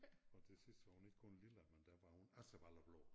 Og til sidst var hun ikke kun lilla men der var hun Asserballe blå